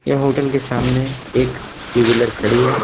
यह होटल के सामने एक टू वीलर खड़ी है।